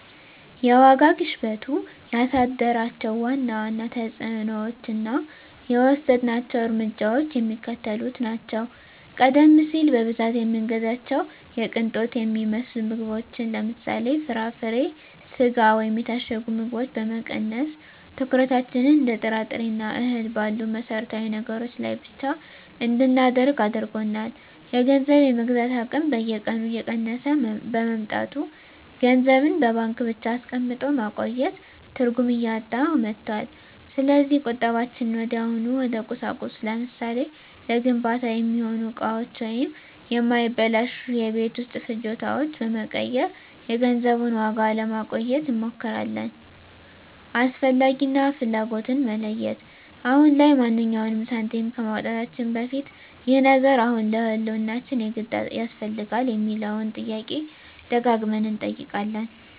የዋጋ ግሽበቱ ያሳደራቸው ዋና ዋና ተፅዕኖዎችና የወሰድናቸው እርምጃዎች የሚከተሉት ናቸው፦ ቀደም ሲል በብዛት የምንገዛቸውን የቅንጦት የሚመስሉ ምግቦችን (ለምሳሌ፦ ፍራፍሬ፣ ስጋ ወይም የታሸጉ ምግቦች) በመቀነስ፣ ትኩረታችንን እንደ ጥራጥሬና እህል ባሉ መሠረታዊ ነገሮች ላይ ብቻ እንድናደርግ አድርጎናል። የገንዘብ የመግዛት አቅም በየቀኑ እየቀነሰ በመምጣቱ፣ ገንዘብን በባንክ ብቻ አስቀምጦ ማቆየት ትርጉም እያጣ መጥቷል። ስለዚህ ቁጠባችንን ወዲያውኑ ወደ ቁሳቁስ (ለምሳሌ፦ ለግንባታ የሚሆኑ እቃዎች ወይም የማይበላሹ የቤት ውስጥ ፍጆታዎች) በመቀየር የገንዘቡን ዋጋ ለማቆየት እንሞክራለን። "አስፈላጊ" እና "ፍላጎት"ን መለየት፦ አሁን ላይ ማንኛውንም ሳንቲም ከማውጣታችን በፊት "ይህ ነገር አሁን ለህልውናችን የግድ ያስፈልጋል?" የሚለውን ጥያቄ ደጋግመን እንጠይቃለን።